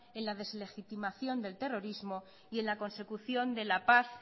en la deslegitimación del terrorismo y en la consecución de la paz